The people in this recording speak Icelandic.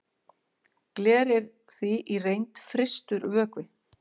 gler er því í reynd frystur vökvi